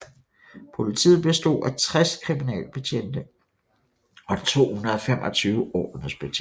Politiet bestod af 60 kriminalbetjente og 225 ordensbetjente